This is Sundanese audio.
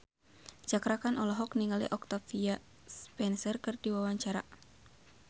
Cakra Khan olohok ningali Octavia Spencer keur diwawancara